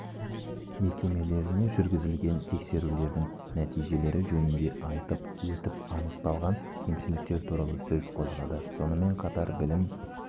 мекемелеріне жүргізілген тексерулердің нәтижелері жөнінде айтып өтіп анықталған кемшіліктер туралы сөз қозғады сонымен қатар білім